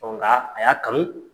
gaa a y'a kanu